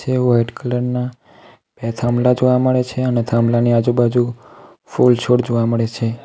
White colour ના થાંભલા જોવા મળે છે અને થાંભલાની આજુબાજુ ફૂલ છોડ જોવા મળે છે.